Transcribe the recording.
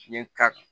N ye ka